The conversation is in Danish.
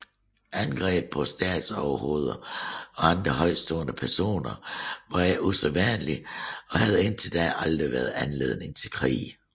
Angreb på statsoverhoveder og andre højtstående personer var ikke usædvanlige og havde indtil da aldrig været anledning til krig